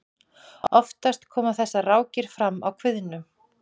oftast koma þessar rákir fram á kviðnum